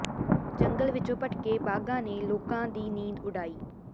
ਜੰਗਲ ਵਿਚੋਂ ਭਟਕੇ ਬਾਘਾਂ ਨੇ ਲੋਕਾਂ ਦੀ ਨੀਂਦ ਉਡਾਈ